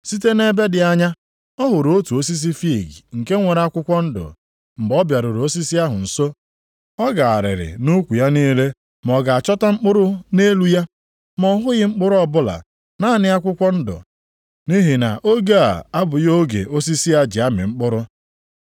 Site nʼebe dị anya, ọ hụrụ otu osisi fiig nke nwere akwụkwọ ndụ. Mgbe ọ bịaruru osisi ahụ nso, ọ gagharịrị nʼukwu ya niile ma ọ ga-achọta mkpụrụ nʼelu ya, ma ọ hụghị mkpụrụ ọbụla, naanị akwụkwọ ndụ, nʼihi na oge a abụghị oge osisi a ji amị mkpụrụ.